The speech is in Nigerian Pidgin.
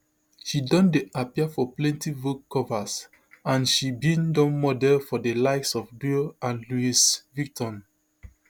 she don dey appear for plenti vogue covers and she bin don model for di likes of dior and louis vuitton